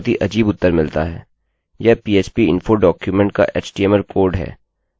यह php info document PHP info document का htmlएचटीएमएलकोड है